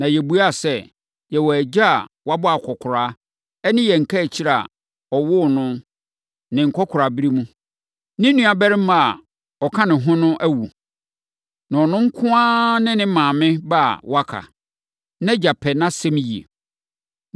Na yɛbuaa sɛ, ‘Yɛwɔ agya a wabɔ akɔkoraa ne yɛn kaakyire a ɔwoo no ne nkɔkoraaberɛ mu. Ne nuabarima a ɔka ne ho no awu. Na ɔno nko ara ne ne maame ba a waka. Nʼagya pɛ nʼasɛm yie.’